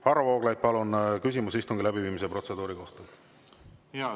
Varro Vooglaid, palun, küsimus istungi läbiviimise protseduuri kohta!